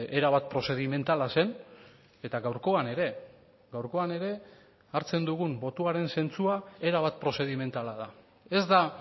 erabat prozedimentala zen eta gaurkoan ere gaurkoan ere hartzen dugun botoaren zentzua erabat prozedimentala da ez da